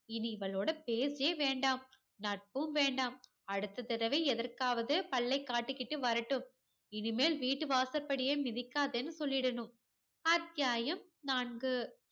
இனி இவளோட பேச்சே வேண்டாம். நட்பும் வேண்டாம். அடுத்த தடவை எதற்காவது பல்லை காட்டிக்கிட்டு வரட்டும். இனிமேல் வீட்டு வாசப்படியை மிதிக்காதேன்னு சொல்லிடணும். அத்தியாயம் நான்கு.